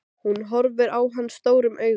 Hún horfir á hann stórum augum.